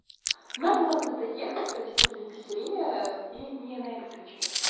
нам главное доехать провести заебись время и не на электричке